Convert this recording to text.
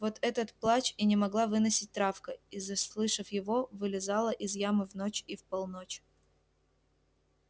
вот этот плач и не могла выносить травка и заслышав его вылезала из ямы в ночь и в полночь